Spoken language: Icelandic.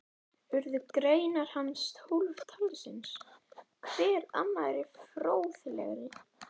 Urðu greinar hans tólf talsins, hver annarri fróðlegri.